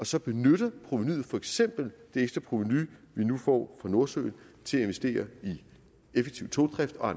så benytter provenuet for eksempel det ekstra provenu vi nu får fra nordsøen til at investere i effektiv togdrift og